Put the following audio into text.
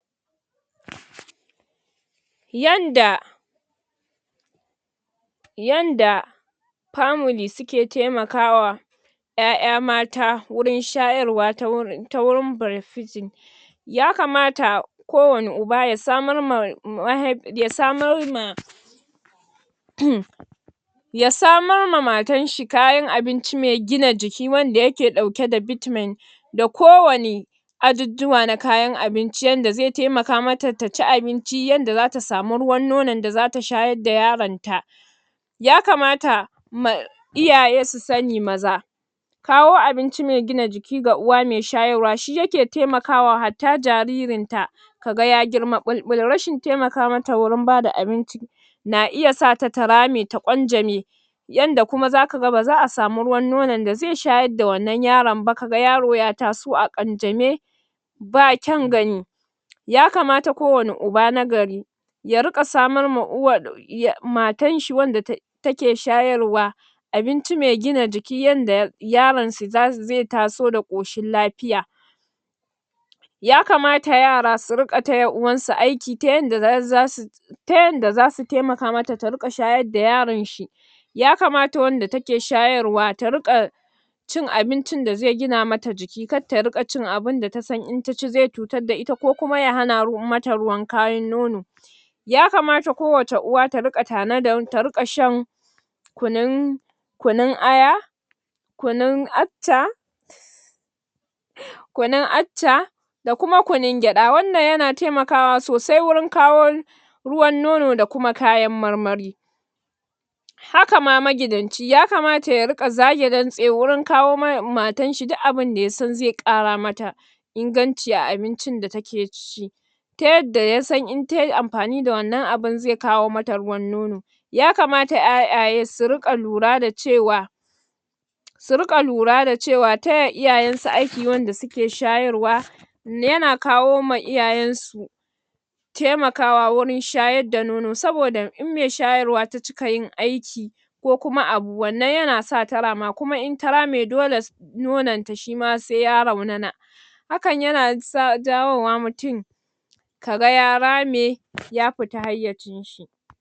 Yanda yanda family suke taimaka wa 'ya'ya mata wurin shayarwa ta wurin breastfeeding ya kamata ko wani uba ya samar ma mahai, ya samar ma ya samar ma matar shi kayan abinci mai gina jiki wanda yake ɗauke da vitamin, da kowani ajujjuwa na kayan abinci yadda zai taimaka mata ta ci abinci yadda za ta sa mu ruwan nonon da za ta shayar da yaron ta, ya kamata Ma iyaye su sani maza kawo abinci mai gina jiki ga uwa mai shayarwa shi yake taimakawa hatta jaririn ta, ka ga ya girma ɓulɓul, rashin taimaka mata wurin bada abinci na iya sata ta rame ta ƙwanja me yanda kuma za ka ga ba za a samu ruwan nonon da zai shayar da wannan yaron ba, ka ga yaro ya taso a ƙanjame, ba kyan gani ya kamata ko wani uba na gari ya riƙa samar ma uwar ya matar shi wadda ta take shayarwa abinci mai gina jiki, yadda yaron su, zai taso da ƙoshin lafiya ya kamata yara su riƙa taya uwar su aiki ta yanda za su ta yanda za su taimaka mata ta riƙa shayar da yaran shi ya kamata wanda take shayarwa ta riƙa cin abincin da zai gina mata jiki, kar ta riƙa cin abinda ta san in ta ci zai cutar da ita, ko kuma ya hana mata ruwan kayin nono, ya kamata ko wace uwa ta riga tanadar, ta riƙa shan kunun kunun aya kunun accha kunun accha da kuma kunun gyada, wannan yana taimakawa sosai wurin kawo ruwan nono da kuma kayan marmari, haka ma magidan ci ya kamata ya riƙa zage dantse wurin kawo ma matar shi duk abinda ya san zai ƙara mata inganci a abincin da take c ta yanda ya san in ta yi amfani da wannan abun zai kawo mata ruwan nono ya kamata 'ya'yaye su riƙa lura da cewa su riƙa lura da cewa taya iyayen su aiki wanda suke shayarwa yana kawo ma iyayen su taimakawa wajen shayar da nono saboda in mai shayarwa ta cika yin aiki ko kuma abu wannan yana sa ta rama, kuma in ta rame dole sai nonon ta shima sai ya raunana hakan yana jawo wa mutum ka ga ya rame ya fita hayyacin shi.